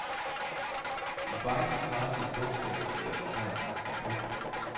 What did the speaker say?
En byte svarer til et bogstav eller et tegn. punktum